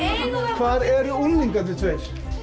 hvar eru unglingarnir tveir